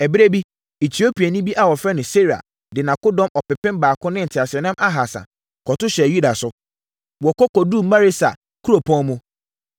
Ɛberɛ bi, Etiopiani bi a wɔfrɛ no Serah de akodɔm ɔpepem baako ne nteaseɛnam ahasa, kɔto hyɛɛ Yuda so. Wɔkɔ kɔduruu Maresa kuropɔn mu.